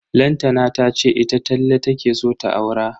Lantana tace ita Talle take so ta aura.